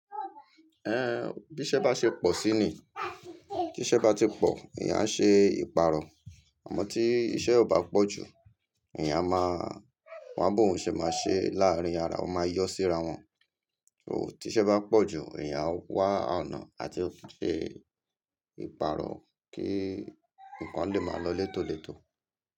Bí iṣẹ́ bá ṣe pọ̀ sí ni, tí iṣẹ́ bá ti pọ̀, èèyàn á ṣe ìpàrọ̀. Àmọ́ tí iṣẹ́ ò bá pọ̀ ju, èèyàn a máa, wa bòún ṣẹ máa ṣe láàrín ara, o máa yọ́ sí ara wọn. So tí iṣẹ́ bá pọ̀ jù, èèyàn á wá àná àti ṣe ìpàrọ̀ kí nǹkan lè máa lọ létòlètò.